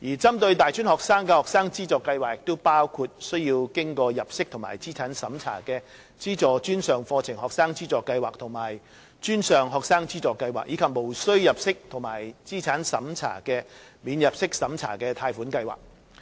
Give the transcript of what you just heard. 針對大專學生的學生資助計劃包括須經入息及資產審查的"資助專上課程學生資助計劃"和"專上學生資助計劃"，以及無須入息及資產審查的"免入息審查貸款計劃"。